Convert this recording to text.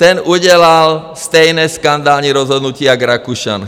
Ten udělal stejné skandální rozhodnutí jak Rakušan.